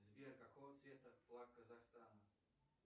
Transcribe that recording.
сбер какого цвета флаг казахстана